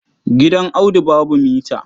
Gidan Audu babu mita.